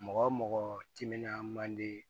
Mɔgɔ mɔgɔ timinan man di